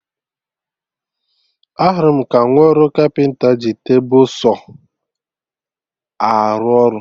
Ahụrụ m ka nwa ọrụ kapịnta ji tebụl Saw arụ ọrụ